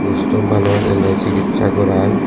kusto manuj ele sikitsa goran.